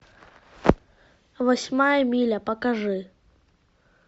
восьмая миля покажи